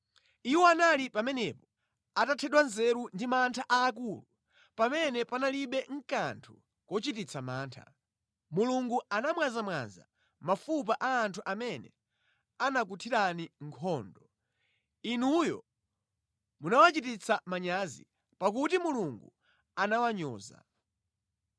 Iwo anali pamenepo atathedwa nzeru ndi mantha aakulu pamene panalibe kanthu kochititsa mantha. Mulungu anamwazamwaza mafupa a anthu amene anakuthirani nkhondo; inuyo munawachititsa manyazi, pakuti Mulungu anawanyoza.